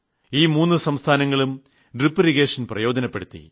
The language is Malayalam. ഈ മൂന്നു സംസ്ഥാനങ്ങളും ഡ്രിപ് ഇറിഗേഷൻ പ്രയോജനപ്പെടുത്തി